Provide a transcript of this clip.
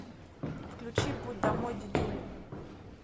включи путь домой дидюли